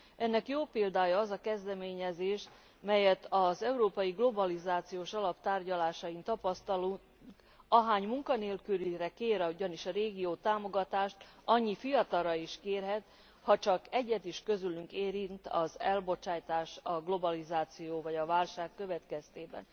Ennek jó példája az a kezdeményezés, melyet az európai globalizációs alap tárgyalásain tapasztalunk ahány munkanélkülire kér ugyanis a régió támogatást, annyi fiatalra is kérhet, hacsak egyet is közülük érint az elbocsájtás, a globalizáció vagy a válság következtében.